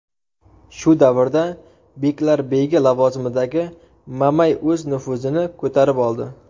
Shu davrda beklarbegi lavozimidagi Mamay o‘z nufuzini ko‘tarib oldi.